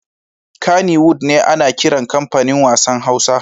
Kannywood ne ana kiran comfanin wassan Hausa.